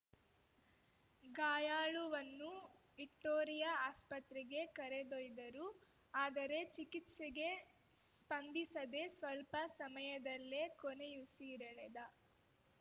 ಗಾಯಾಳುವನ್ನು Victoria ಆಸ್ಪತ್ರೆಗೆ ಕರೆದೊಯ್ದರು ಆದರೆ ಚಿಕಿತ್ಸೆಗೆ ಸ್ಪಂದಿಸದೆ ಸ್ಪಲ್ಪ ಸಮಯದಲ್ಲೇ ಕೊನೆಯುಸಿರೆಳೆದ